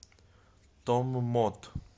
томмот